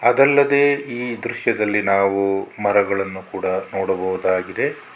ಅದಲ್ಲದೇ ಈ ದೃಶ್ಯದಲ್ಲಿ ನಾವು ಮರಗಳನ್ನು ಕೂಡ ನೋಡಬಹುದಾಗಿದೆ.